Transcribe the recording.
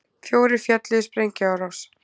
Fjórir féllu í sprengjuárás